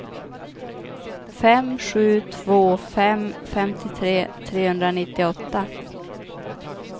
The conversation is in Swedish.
fem sju två fem femtiotre trehundranittioåtta